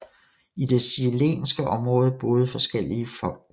I det chilenske område boede forskellige folk